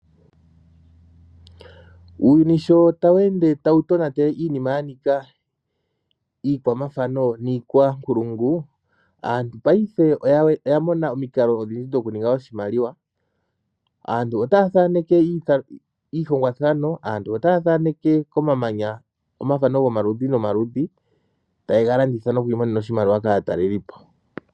Uuyuni sho tawu ende tawu tonata iinima yanika iikwamathano niikwa nkulungu aantu payife oya ninga omikalo odhindji dhokuninga oshimaliwa. Aantu otaya thaneke iihongwathano . Aantu otaya thaneke komamanya omathano gomaludhi ,taye ga landitha noku imonena oshimaliwa kaatalelipo.